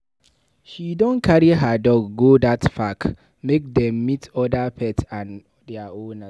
She don carry her dog go dat park make dem meet oda pet and their owners.